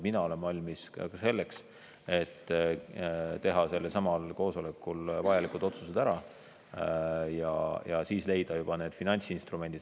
Mina olen valmis ka selleks, et teha sellelsamal koosolekul vajalikud otsused ära ja siis leida juba need finantsinstrumendid.